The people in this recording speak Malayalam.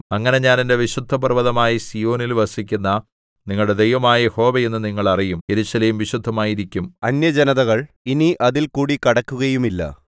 അങ്ങനെ ഞാൻ എന്റെ വിശുദ്ധ പർവ്വതമായ സീയോനിൽ വസിക്കുന്ന നിങ്ങളുടെ ദൈവമായ യഹോവ എന്ന് നിങ്ങൾ അറിയും യെരൂശലേം വിശുദ്ധമായിരിക്കും അന്യജനതകൾ ഇനി അതിൽകൂടി കടക്കുകയുമില്ല